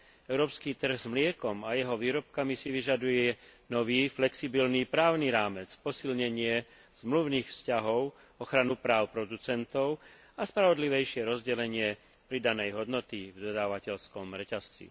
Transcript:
Európsky trh s mliekom a jeho výrobkami si vyžaduje nový, flexibilný právny rámec, posilnenie zmluvných vzťahov, ochranu práv producentov a spravodlivejšie rozdelenie pridanej hodnoty v dodávateľskom reťazci.